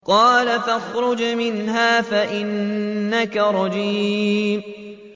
قَالَ فَاخْرُجْ مِنْهَا فَإِنَّكَ رَجِيمٌ